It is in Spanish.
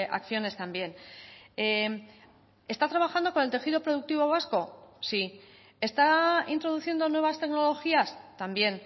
acciones también está trabajando con el tejido productivo vasco sí está introduciendo nuevas tecnologías también